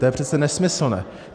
To je přece nesmyslné.